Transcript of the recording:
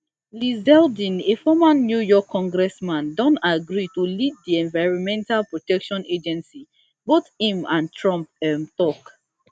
lee zeldin a former new york congressman don agree to lead di environmental protection agency both im and trump um tok